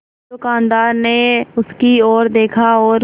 दुकानदार ने उसकी ओर देखा और